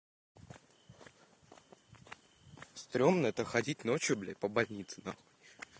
стрёмно это ходить ночью блядь по больнице нахуй